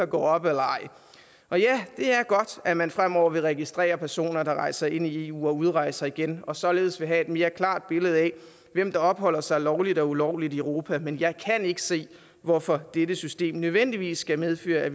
går op eller ej det er godt at man fremover vil registrere personer der rejser ind i eu og udrejser igen og således vil have et mere klart billede af hvem der opholder sig lovligt og ulovligt i europa men jeg kan ikke se hvorfor dette system nødvendigvis skal medføre at